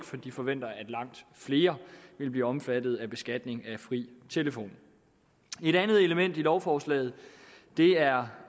for de forventer at langt flere vil blive omfattet af beskatning af fri telefon et andet element i lovforslaget er